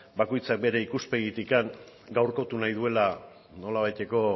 bakoitza bere ikuspegitik gaurkotu nahi duela nolabaiteko